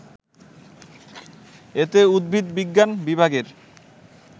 এতে উদ্ভিদবিজ্ঞান বিভাগের